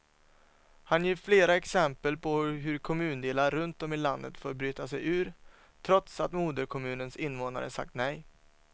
Han ger flera exempel på hur kommundelar runt om i landet fått bryta sig ur, trots att moderkommunens invånare sagt nej.